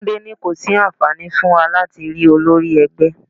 Túndé ní kò sí àǹfààní fún wa láti rí olórí ẹgbẹ́.